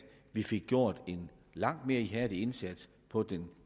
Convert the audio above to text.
vi fik gjort en langt mere ihærdig indsats på det